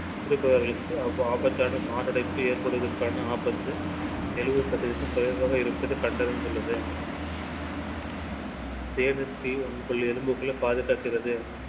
குடிப்பவர்களுக்கு ஆபத்தான மாரடைப்பு ஏற்படுவதற்கான ஆபத்து எழுபது சதவீதம் குறைவாக இருப்பதை கண்டறிந்துள்ளது. தேநீர் tea உங்கள் எலும்புகளை பாதுகாக்கிறது.